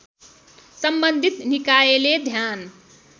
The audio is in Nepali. सम्बन्धित निकायले ध्यान